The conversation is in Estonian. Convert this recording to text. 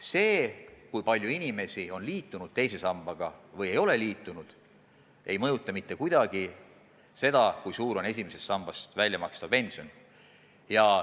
See, kui palju inimesi on liitunud teise sambaga, ei mõjuta mitte kuidagi seda, kui suur on esimesest sambast väljamakstav pension.